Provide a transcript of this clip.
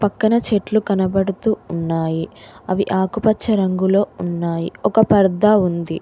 తన చెట్లు కనబడుతూ ఉన్నాయి అవి ఆకుపచ్చ రంగులో ఉన్నాయి ఒక పెద్ద ఉంది.